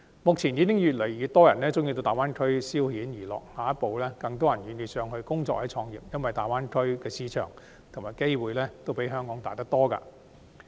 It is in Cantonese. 目前已有越來越多人喜歡到大灣區消遣娛樂，下一步將有更多人願意到該處工作或創業，因為大灣區的市場和機會均較香港大得多。